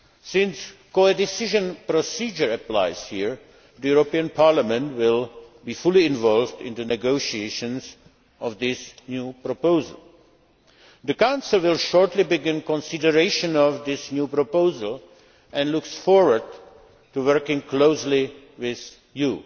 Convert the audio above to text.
Since the codecision procedure applies here, the European Parliament will be fully involved in the negotiations on this new proposal. The Council will shortly begin consideration of this new proposal and looks forward to working closely with you.